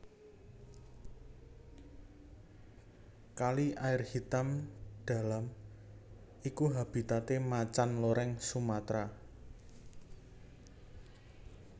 Kali Air Hitam Dalam iku habitate Macan Loreng Sumatra